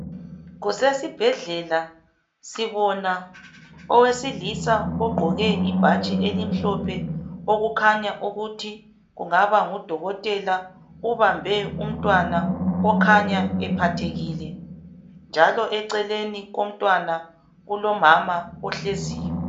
Kusesibhedlela sibona owesilisa ogqoke ibhatshi elimhlophe, okukhanya ukuthi kungaba ngudokotela ubambe umntwana okhanya ephathekile njalo eceleni komntwana kulomama ohleziyo.